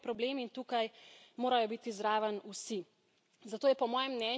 Skrb za okolje je svetovni problem in tukaj morajo biti zraven vsi.